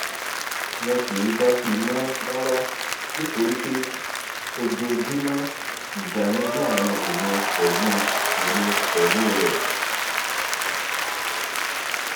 wọn kì í dá sí i mọ rárá nítorí pé ojoojúmọ ìjà ni láàrin èmi pẹlú èmi pẹlú rẹ